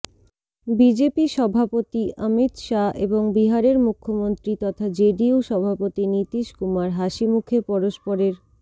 BJP সভাপতি অমিত শাহ এবং বিহারের মুখ্যমন্ত্রী তথা জেডিইউ সভাপতি নীতীশ কুমার হাসিমুখে পরস্পরের